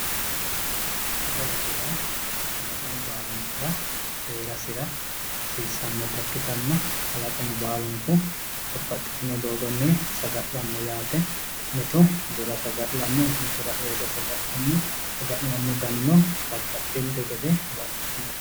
Sagalete yaa kalaqmu baalunkura heerasira hasiissannote kalaqamu baalunku babbaxxitino garinni saga'lanno yaate mitu bura saga'lanno mitu r'eyoota saga'lanno saga'lano danino babbabxxinte gede baxxitinote